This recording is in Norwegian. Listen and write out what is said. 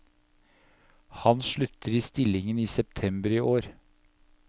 Han slutter i stillingen i september i år.